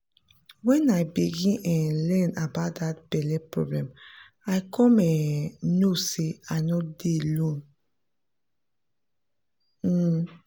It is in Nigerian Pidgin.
when i begin um learn about that belle problem i come um know say i no dey alone um